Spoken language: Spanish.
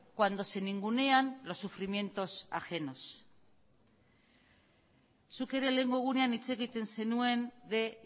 cuando se ningunean los sufrimientos ajenos zuk ere lehengo egunean hitz egiten zenuen de